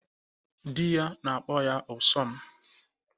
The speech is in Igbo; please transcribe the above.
Di ya na-akpọ ya 'Ụsọ m'